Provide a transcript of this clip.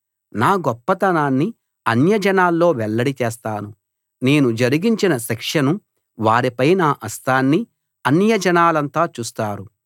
నా గొప్పతనాన్ని అన్యజనాల్లో వెల్లడి చేస్తాను నేను జరిగించిన శిక్షను వారిపై నా హస్తాన్ని అన్యజనాలంతా చూస్తారు